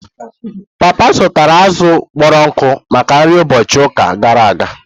Papa zụtara azụ̀ kpọrọ nkụ maka nri ụbọchị ụka gara aga.